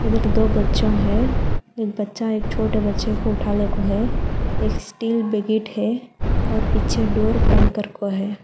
एक दो बच्चा है एक बच्चा एक छोटे बच्चे को उठा ले को है एक स्टील बकेट है और पीछे डोर बनकर को है।